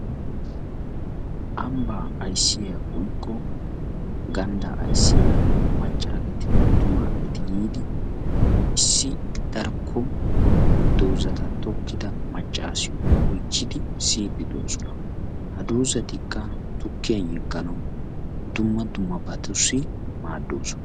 Ambbaa ayssiya woykko ganddaa ayssiya macca gidin attumasgeeti yiidi issi darkkon dozzata tokkida maccaasiyo oychchidi siyiiddi de"oosona. Ha dozzatikka tukkiyan yegganawu dumma dummabatussi maaddoosona.